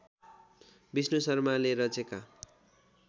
विष्णु शर्माले रचेका